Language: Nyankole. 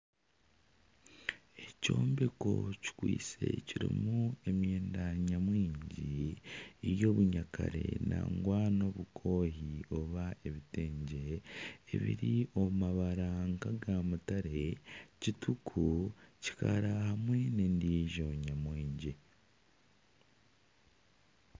Ekyombeko kikwatse kirimu emyenda nyamwingi ebyobunyakare nangwa n'obukohi oba ebitengye ebiri omu mabara nkaga mutare, kituku ,kikara hamwe nana endiijo nyamwingi.